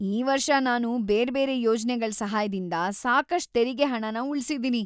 ಈ ವರ್ಷ ನಾನು ಬೇರ್ಬೇರೆ ಯೋಜ್ನೆಗಳ್ ಸಹಾಯದಿಂದ ಸಾಕಷ್ಟ್ ತೆರಿಗೆ ಹಣನ ಉಳ್ಸಿದೀನಿ.